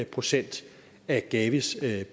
procent af gavis